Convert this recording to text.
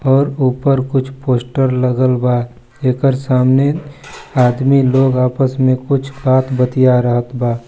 और ऊपर कोई पोस्टर लगल बा जेकर सामने आदमी लोग कुछ बात बतिया रहल बा--